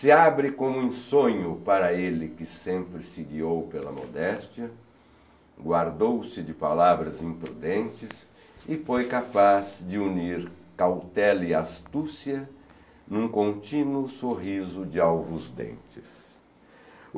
se abre como um sonho para ele que sempre se guiou pela modéstia, guardou-se de palavras imprudentes e foi capaz de unir cautela e astúcia num contínuo sorriso de alvos dentes.